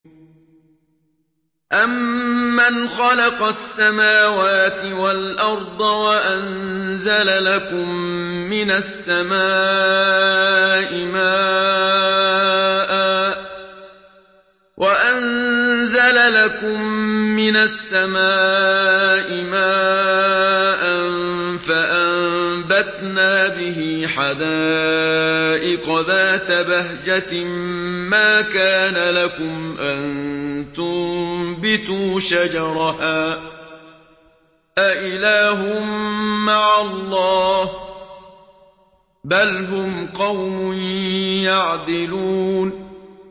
أَمَّنْ خَلَقَ السَّمَاوَاتِ وَالْأَرْضَ وَأَنزَلَ لَكُم مِّنَ السَّمَاءِ مَاءً فَأَنبَتْنَا بِهِ حَدَائِقَ ذَاتَ بَهْجَةٍ مَّا كَانَ لَكُمْ أَن تُنبِتُوا شَجَرَهَا ۗ أَإِلَٰهٌ مَّعَ اللَّهِ ۚ بَلْ هُمْ قَوْمٌ يَعْدِلُونَ